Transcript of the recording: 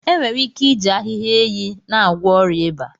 Enwere ike iji ahịhịa enyi na-agwọ ọrịa ịba.